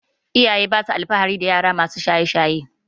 iyaye basa alfahari dayara masu shaye shaye